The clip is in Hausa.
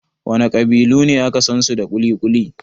Wana ƙabilu ne aka sansu da kuli-kuli?